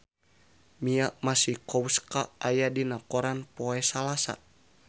Mia Masikowska aya dina koran poe Salasa